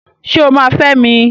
Ṣé o máa fẹ́ mi?